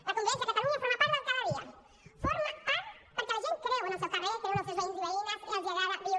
la convivència a catalunya forma part del cada dia forma part perquè la gent creu en el seu carrer creu en els seus veïns i veïnes i els agrada viure